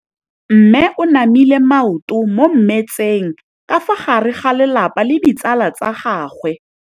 Mme o namile maoto mo mmetseng ka fa gare ga lelapa le ditsala tsa gagwe.